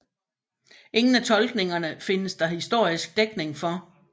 Ingen af tolkningerne findes der historisk dækning for